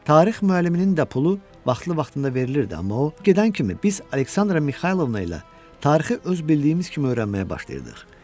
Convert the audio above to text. Tarix müəlliminin də pulu vaxtlı-vaxtında verilirdi, amma o, gedən kimi biz Aleksandra Mixaylovna ilə tarixi öz bildiyimiz kimi öyrənməyə başlayırdıq.